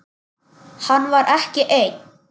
Hann var ekki einn.